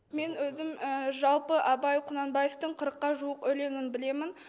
мен өзім жалпы абай құнанбаевтың қырыққа жуық өлеңін білемін